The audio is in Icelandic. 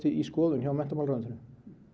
í skoðun hjá menntamálaráðuneytinu